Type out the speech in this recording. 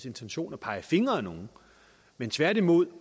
intention at pege fingre ad nogen men tværtimod